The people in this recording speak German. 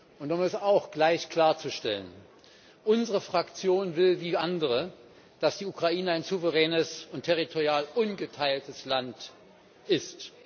Und um auch das gleich klarzustellen Unsere Fraktion will wie andere, dass die Ukraine ein souveränes und territorial ungeteiltes Land ist.